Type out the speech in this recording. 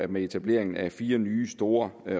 med etableringen af fire nye store